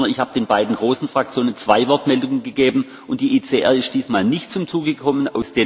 Ich habe keiner Fraktion drei Wortmeldungen gegeben, sondern ich habe den beiden großen Fraktionen zwei Wortmeldungen gegeben.